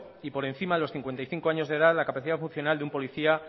y por encima de los cincuenta y cinco años de edad la capacidad funcional de un policía